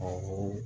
Awɔ